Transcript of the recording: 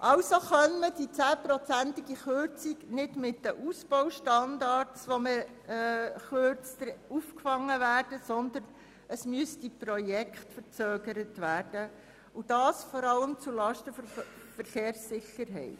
Also könne die 10-prozentige Kürzung nicht bei den Ausbaustandards aufgefangen werden, sondern es müssten Projekte verzögert werden und dies vor allem zulasten der Verkehrssicherheit.